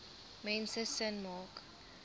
mense sin maak